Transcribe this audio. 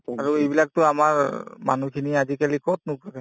আৰু এইবিলাকতো আমাৰ মানুহখিনি আজিকালি কতনো থাকে